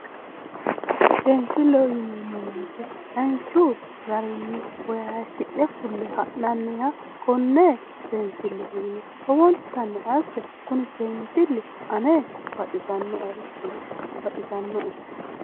Seensillleho yineemmo woyite danchu garinni Woyi hayishi'ne fulle ha'nanniha konne biinifilleho yine lowontanni asse kuni biinfilli ane dibaxisannoe.